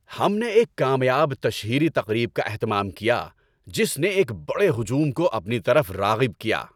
ہم نے ایک کامیاب تشہیری تقریب کا اہتمام کیا جس نے ایک بڑے ہجوم کو اپنی طرف راغب کیا۔